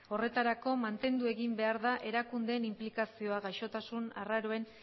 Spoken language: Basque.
horretarako mantendu egin behar da erakundeen inplikazioa gaixotasun arraroen